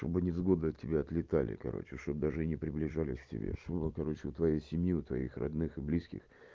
чтоб невзгода тебя отлетали короче что даже не приближались к тебе что бы было короче у твоей семью твоих родных и близких